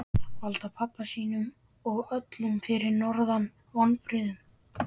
Valda pabba sínum og öllum fyrir norðan vonbrigðum.